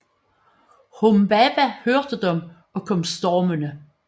Humbaba hørte dem og kom stormende